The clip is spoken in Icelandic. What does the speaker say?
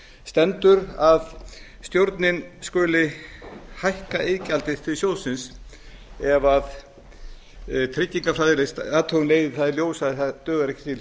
stendur að stjórnin skuli hækka iðgjaldið til sjóðsins ef tryggingafræðileg athugun leiði það í ljós að það dugar ekki til